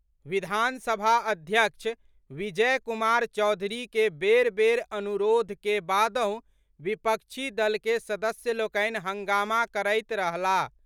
विधानसभा अध्यक्ष विजय कुमार चौधरी के बेर बेर अनुरोध के बादहुँ विपक्षी दल के सदस्यलोकनि हंगामा करैत रहलाह।